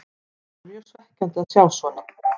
Það er mjög svekkjandi að sjá svona.